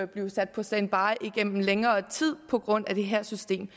blive sat på standby igennem længere tid på grund af det her system